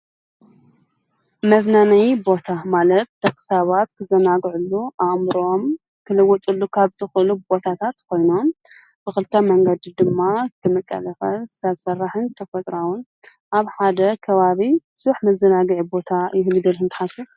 መዝናነይ ቦታ ማለት ጠኽሳባት ክዘናጕዕሉ ኣእምሮኦም ክልጐጥሉ ካብ ጥኽሉብ ቦታታት ኮይኑን ብኽልተ መንገዲ ድማ ክምቀለፈ ብሠራሕን ተፈጥራዉን ኣብ ሓደ ከዋቢ ዙኅ ምዘናጊዕ ቦታ ይህልው ኢልኩም ዶ ተሓስቡ?